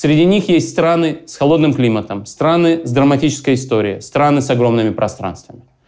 среди них есть страны с холодным климатом страны с драматической историей страны с огромными пространствами